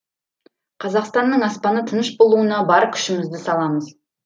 қазақстанның аспаны тыныш болуына бар күшімізді саламыз